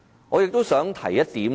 我亦想提出一點。